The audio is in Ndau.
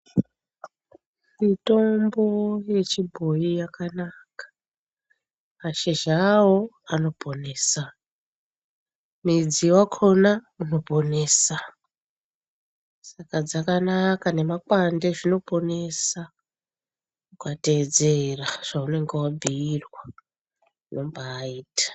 Mitombo yechibhoyi yakanaka. Mashizha ayo anoponesa, mudzi wakona unoponesa, saka dzakanaka, nemakwande zvinoponesa, kana ukateedzera zvaunenge wabhuirwa zvinombaita.